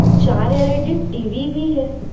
चार LED TV भी है।